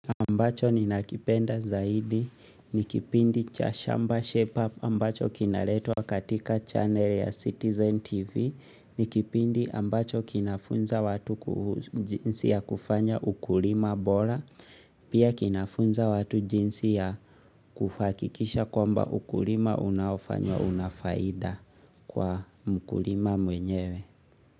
Ambacho ninakipenda zaidi nikipindi cha shamba shape up ambacho kinaletwa katika channel ya Citizen TV ni kipindi ambacho kinafunza watu ku jinsi ya kufanya ukulima bola Pia kinafunza watu jinsi ya kuhakikisha kwamba ukulima unaofanywa unafaida kwa mkulima mwenyewe.